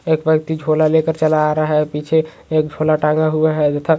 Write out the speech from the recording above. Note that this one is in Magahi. एक व्यक्ति झोला लेकर चला आ रहा है पीछे एक झोला टंगा हुआ हैं तथा --